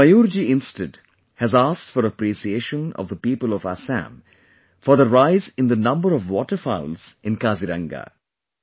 But Mayur ji instead has asked for appreciation of the people of Assam for the rise in the number of Waterfowls in Kaziranga